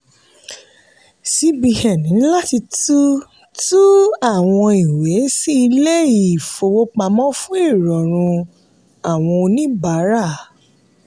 cbn ní láti tú tú àwọn ìwé sí ilé-ìfowópamọ́ fún ìrọrùn àwọn oníbàárà.